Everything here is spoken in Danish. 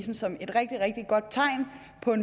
er